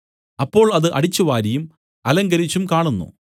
അപ്പോൾ അത് അടിച്ചുവാരിയും അലങ്കരിച്ചും കാണുന്നു